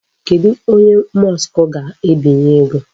Kedụ onye Musk ga-ebinye ego?